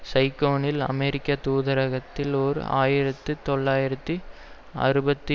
சைகோனில் அமெரிக்க தூதகரத்தில் ஓர் ஆயிரத்தி தொள்ளாயிரத்து அறுபத்தி